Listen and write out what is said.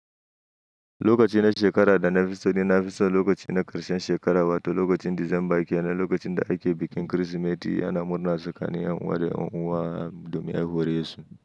Lokacin da shekara da nafiso da nafiso, lokacin na Karshen shekara wato lokacin Disamba kenan, lokacin da ake bikin Kirsimeti yana murnar tsakanin yan uwa da yan uwa dominar haihuwar Yesu.